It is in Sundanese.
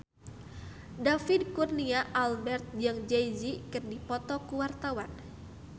David Kurnia Albert jeung Jay Z keur dipoto ku wartawan